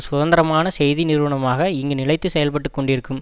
சுதந்திரமான செய்தி நிறுவனமாக இங்கு நிலைத்துச் செயல்பட்டு கொண்டிருக்கும்